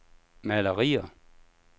malerier